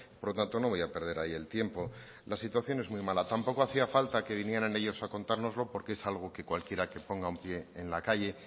por lo tanto no voy a perder ahí el tiempo la situación es muy mala tampoco hacía falta que vinieran ellos a contárnoslo porque es algo que cualquiera que ponga un pie en la calle